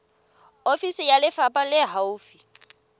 ofisi ya lefapha le haufi